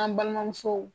An balimamuso